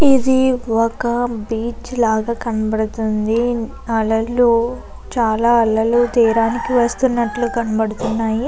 ఇది ఒక బీచ్ లాగా కనపడుతుంది అలలు చాల అలలు తీరానికి వస్తున్నట్టు కనపడుతున్నాయి.